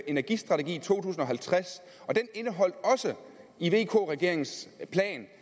energistrategi to tusind og halvtreds vk regeringens plan